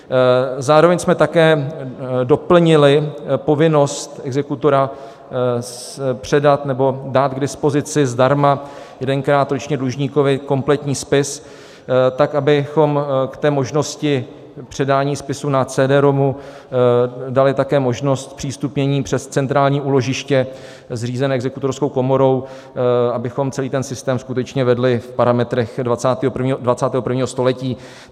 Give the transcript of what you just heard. Zároveň jsme také doplnili povinnost exekutora předat nebo dát k dispozici zdarma jedenkrát ročně dlužníkovi kompletní spis tak, abychom k možnosti předání spisu na CD-ROMu dali také možnost zpřístupnění přes centrální úložiště zřízené Exekutorskou komorou, abychom celý ten systém skutečně vedli v parametrech 21. století.